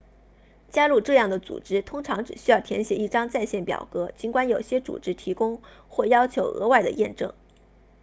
加入这样的组织通常只需要填写一张在线表格尽管有些组织提供或要求额外的验证